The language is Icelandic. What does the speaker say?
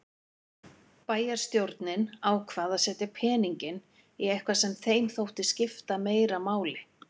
Bæjarstjórnin ákvað að setja peninginn í eitthvað sem þeim þótti skipta meira máli.